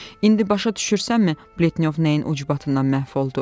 İndi başa düşürsənmi, Pletnyov nəyin ucbatından məhv oldu?